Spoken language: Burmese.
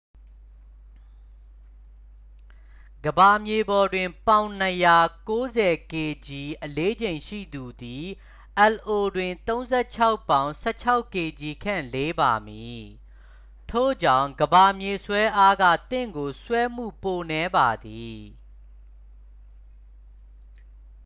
ကမ္ဘာမြေပေါ်တွင် ပေါင် ၂၀၀ ၉၀ kg အလေးချိန်ရှိသူသည် lo တွင် ၃၆ ပေါင် ၁၆ kg ခန့် လေးပါမည်။ ထို့ကြောင့် ကမ္ဘာမြေဆွဲအားက သင့်ကို ဆွဲမှု ပိုနည်းပါသည်။